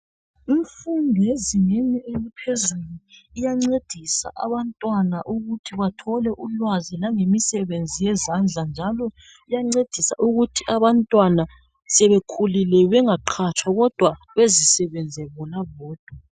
Umfundo ezingeni eliphezulu iyancedisa abantwana ukuthi bathole ulwazi langemisebenzi yezandla njalo iyancedisa ukuthi abantwana sebekhulile bengaqhatshwa kodwa bezisebenze bona bodwa.